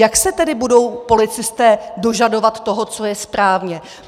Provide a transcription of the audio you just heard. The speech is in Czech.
Jak se tedy budou policisté dožadovat toho, co je správně?